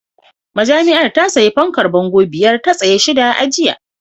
Majami'ar ta sayi fankar bango biyar a tsaye da shida a jiya